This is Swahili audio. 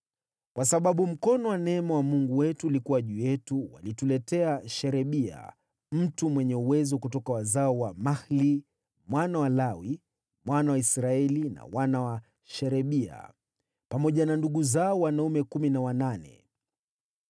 Kwa sababu mkono wa neema wa Mungu wetu ulikuwa juu yetu, walituletea Sherebia, mtu mwenye uwezo kutoka wazao wa Mahli mwana wa Lawi, mwana wa Israeli, na wana wa Sherebia pamoja na ndugu zao wanaume kumi na wanane.